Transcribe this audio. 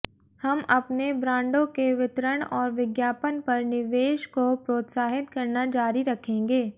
हम अपने ब्रांडों के वितरण और विज्ञापन पर निवेश को प्रोत्साहित करना जारी रखेंगे